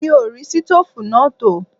Mi ò rí ṣítòfù náà tò